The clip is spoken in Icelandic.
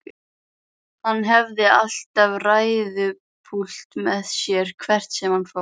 Hann hafði alltaf ræðupúlt með sér hvert sem hann fór.